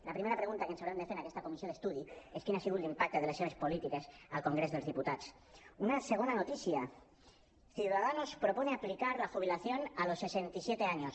la primera pregunta que ens haurem de fer en aquesta comissió d’estudi és quin ha sigut l’impacte de les seves polítiques al congrés dels diputats una segona notícia ciudadanos propone aplicar la jubilación a los sesenta y siete años